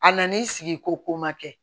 A nan'i sigi ko ko ma kɛ